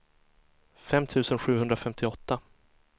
fem tusen sjuhundrafemtioåtta